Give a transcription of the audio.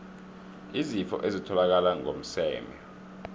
izifo ezitholakala ngokomseme